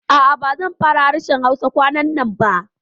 A'a, ba zan fara harshen Hausa kwanannan ba